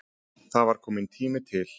Það var kominn tími til.